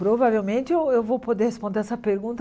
Provavelmente eu eu vou poder responder essa pergunta